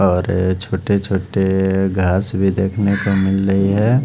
और छोटे छोटे घास भी देखने को मिल रही है।